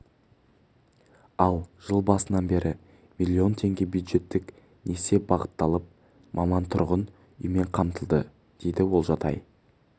ал жыл басынан бері миллион теңге бюджеттік несие бағытталып маман тұрғын үймен қамтылды дейді олжатай